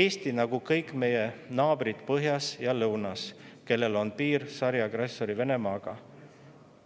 Eesti, nagu kõik meie naabrid põhjas ja lõunas, kellel on piir sariagressor Venemaaga,